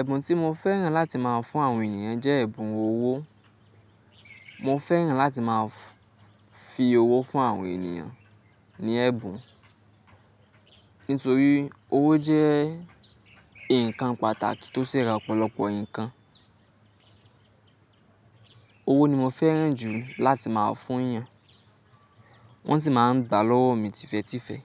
ẹ̀bùn tí mo fẹ́ràn láti máa fún àwọn ènìyàn jẹ́ ẹ̀bùn owó. Mo fẹ́ràn láti máa fi owó fún àwọn ènìyàn ní ẹ̀bùn, nítorí owó jẹ́ ǹkan pàtàkì tó ṣe ra ọ̀pọ̀lọpọ̀ ǹkan. Owó ni mo fẹ́ràn jù láti máa fún yàn, wọ́n sì máa ń gba lọ́wọ́ mi tìfé̀tìfé̀